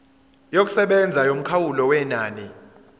yokusebenza yomkhawulo wenani